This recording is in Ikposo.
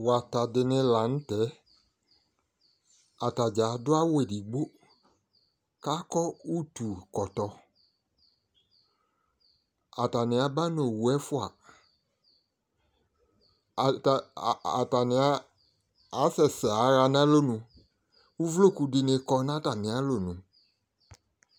wata di ni lantɛ atadza ado awu edigbo ko akɔ utu kɔtɔ atani aba no owu ɛfoa atani asɛ sɛ aɣa no alɔnu uvloku di ni kɔ no atami alɔnu